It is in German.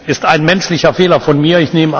Es war ein menschlicher Fehler von mir.